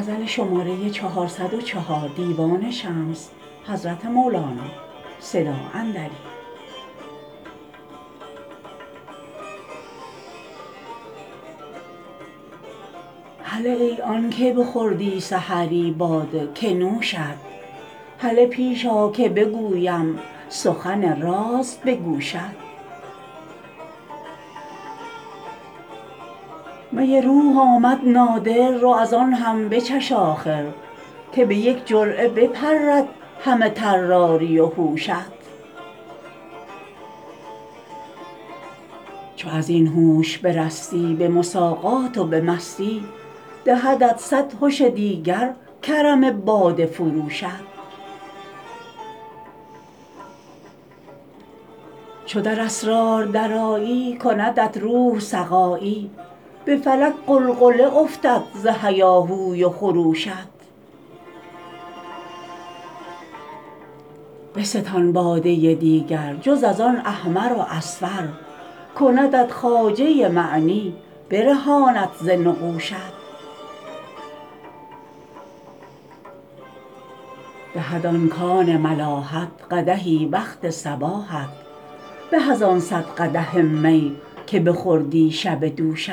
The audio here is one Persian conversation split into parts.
هله ای آنک بخوردی سحری باده که نوشت هله پیش آ که بگویم سخن راز به گوشت می روح آمد نادر رو از آن هم بچش آخر که به یک جرعه بپرد همه طراری و هوشت چو از این هوش برستی به مساقات و به مستی دهدت صد هش دیگر کرم باده فروشت چو در اسرار درآیی کندت روح سقایی به فلک غلغله افتد ز هیاهوی و خروشت بستان باده دیگر جز از آن احمر و اصفر کندت خواجه معنی برهاند ز نقوشت دهد آن کان ملاحت قدحی وقت صباحت به از آن صد قدح می که بخوردی شب دوشت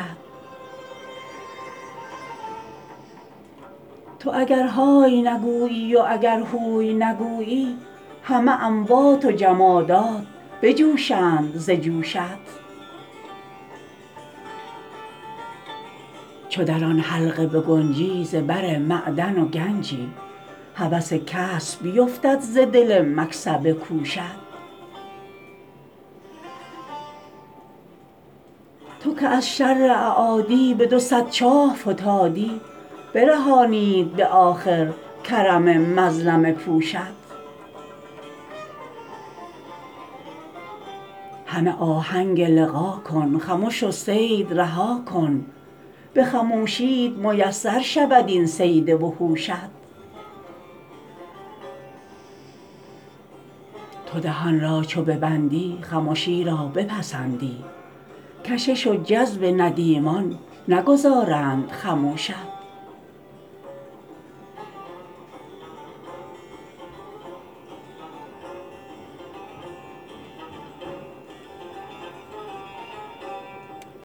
تو اگر های نگویی و اگر هوی نگویی همه اموات و جمادات بجوشند ز جوشت چو در آن حلقه بگنجی زبر معدن و گنجی هوس کسب بیفتد ز دل مکسبه کوشت تو که از شر اعادی به دو صد چاه فتادی برهانید به آخر کرم مظلمه پوشت همه آهنگ لقا کن خمش و صید رها کن به خموشیت میسر شود این صید وحوشت تو دهان را چو ببندی خمشی را بپسندی کشش و جذب ندیمان نگذارند خموشت